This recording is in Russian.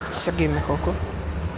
сергей михалков